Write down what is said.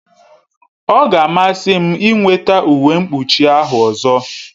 Ọ ga-amasị m ịnweta uwe mkpuchi ahụ ọzọ